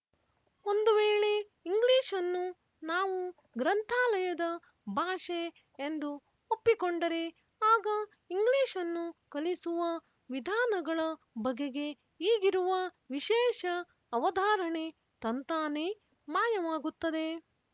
ಒಂದು ವೇಳೆ ಇಂಗ್ಲೀಷನ್ನು ನಾವು ಗ್ರಂಥಾಲಯದ ಭಾಷೆ ಎಂದು ಒಪ್ಪಿಕೊಂಡರೆ ಆಗ ಇಂಗ್ಲೀಷನ್ನು ಕಲಿಸುವ ವಿಧಾನಗಳ ಬಗೆಗೆ ಈಗಿರುವ ವಿಶೇಷ ಅವಧಾರಣೆ ತಂತಾನೇ ಮಾಯವಾಗುತ್ತದೆ